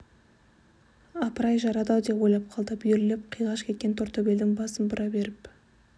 апыр-ай жарады-ау деп ойлап қалды бүйірлеп қиғаш кеткен тортөбелдің басын бұра беріп